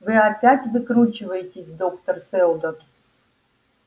вы опять выкручиваетесь доктор сэлдон